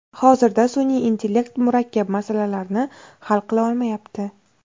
Hozirda sun’iy intellekt murakkab masalalarni hal qila olmayapti.